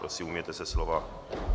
Prosím, ujměte se slova.